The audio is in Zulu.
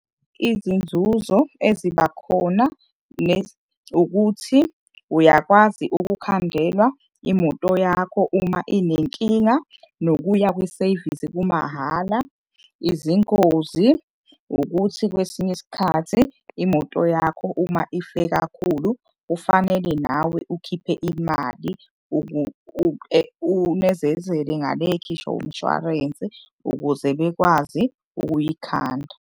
Izinzuzo eziba khona ukuthi uyakwazi ukukhandelwa imoto yakho uma inenkinga, nokuya kwi-service kumahhala. Izingozi ukuthi kwesinye isikhathi imoto yakho uma ife kakhulu kufanele nawe ukhiphe imali unezezele ngale ekhishwa umshwarensi ukuze bekwazi ukuyikhanda.